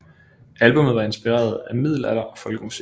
Albummet var inspireret af middelalder og folkemusik